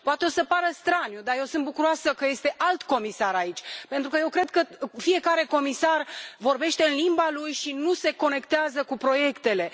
Poate o să pară straniu, dar eu sunt bucuroasă că este alt comisar aici, pentru că eu cred că fiecare comisar vorbește în limba lui și nu se conectează cu proiectele.